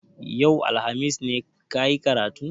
Yau, alhamis ne ka yi karatun?